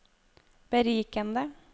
berikende